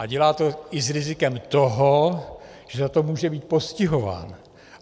A dělá to i s rizikem toho, že za to může být postihován.